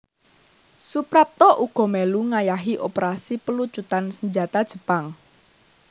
Suprapto uga mèlu ngayahi operasi pelucutan senjata Jepang